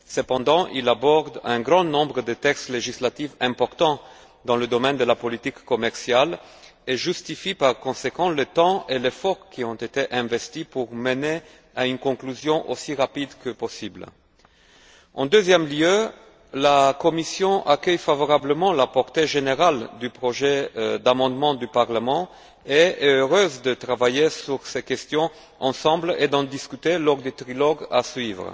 Cependant, il aborde un grand nombre de textes législatifs importants dans le domaine de la politique commerciale et justifie par conséquent le temps et l'effort qui ont été investis pour mener à une conclusion aussi rapide que possible. En deuxième lieu, la Commission accueille favorablement la portée générale du projet d'amendement du Parlement et est heureuse de travailler sur ces questions ensemble et d'en discuter lors du trilogue à suivre.